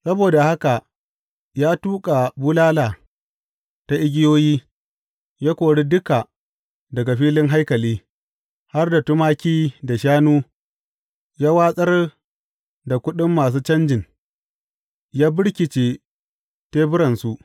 Saboda haka ya tuƙa bulala ta igiyoyi, ya kori duka daga filin haikali, har da tumaki da shanu; ya watsar da kuɗin masu canjin, ya birkice teburansu.